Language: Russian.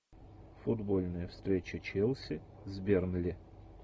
футбольная встреча челси с бернли